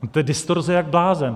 To je distorze jak blázen.